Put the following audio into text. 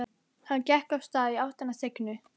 Hann gekk af stað í áttina að Signu.